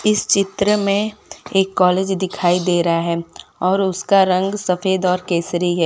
इस चित्र में एक कॉलेज दिखाई दे रहा है और उसका रंग सफेद और केसरी है।